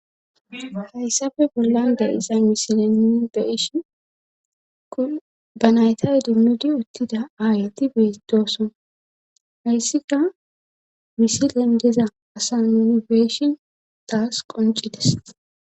hayssafe bollan da7isa misilenni be ishi kun ba nayta edinnodi uttida aayeti beedooson hayssika misilen deza asa unibeeshin taas qoncides